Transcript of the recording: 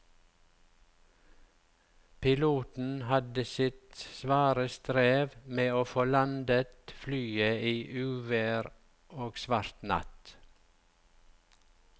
Piloten hadde sitt svare strev med å få landet flyet i uvær og svart natt.